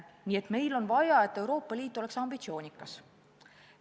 Nii et meil on vaja, et Euroopa Liit oleks ambitsioonikas.